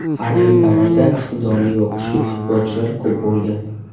Har bir davrda iqtidorli va kuchli futbolchilar ko‘p bo‘lgan.